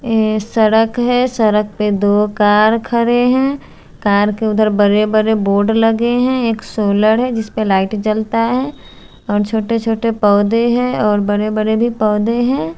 सड़क है। सड़क पे दो कार खड़े हैं। कार के उधर बड़े बड़े बोर्ड लगे हैं एक सोलर है जिसपे लाइट जलता है और छोटे छोटे पौधे हैं और बड़े बड़े भी पौधे हैं।